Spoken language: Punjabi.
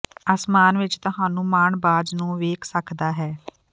ਅਸਮਾਨ ਵਿੱਚ ਤੁਹਾਨੂੰ ਮਾਣ ਬਾਜ਼ ਨੂੰ ਵੇਖ ਸਕਦਾ ਹੈ